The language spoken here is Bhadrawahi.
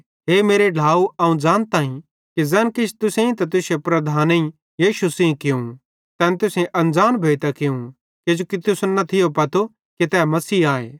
हे मेरे ढ्लाव अवं ज़ानताईं कि ज़ैन किछ तुसेईं ते तुश्शे लीडरेईं यीशु सेइं कियूं तैन तुसेईं अनज़ान भोइतां कियूं किजोकि तुसन न थियो पतो कि तै मसीह आए